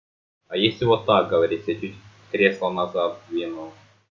а если вот так говорить эти кресла назад вену